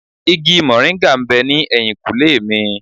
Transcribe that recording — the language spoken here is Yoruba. Igi mòríńgà ń bẹ ní ẹ̀yìnkùlé mi.